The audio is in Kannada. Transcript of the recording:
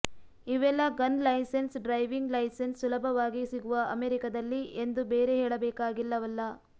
ಇವೆಲ್ಲಾ ಗನ್ ಲೈಸೆನ್ಸ್ ಡ್ರೈವಿಂಗ್ ಲೈಸೆನ್ಸ್ ಸುಲಭವಾಗಿ ಸಿಗುವ ಅಮೆರಿಕದಲ್ಲಿ ಎಂದು ಬೇರೆ ಹೇಳಬೇಕಾಗಿಲ್ಲವಲ್ಲ